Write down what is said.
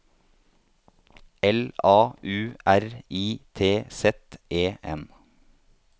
L A U R I T Z E N